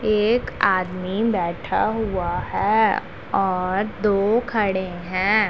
एक आदमी बैठा हुआ है और दो खड़े हैं।